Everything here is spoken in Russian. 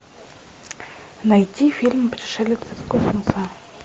найти фильм пришелец из космоса